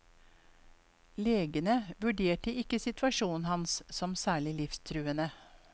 Legene vurderte ikke situasjonen hans som særlig livstruende.